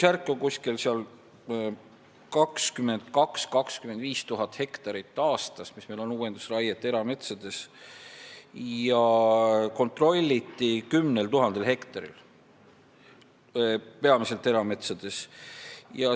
22 000 – 25 000 hektarit tehakse aastas uuendusraiet erametsades ja kontrolliti 10 000 hektarit, peamiselt erametsades.